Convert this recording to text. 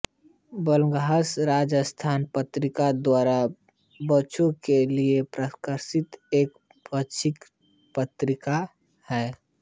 बालहंस राजस्थान पत्रिका द्वारा बच्चों के लिए प्रकाशित एक पाक्षिक पत्रिका है